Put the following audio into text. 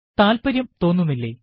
താല്പര്യം തോന്നുന്നില്ലേ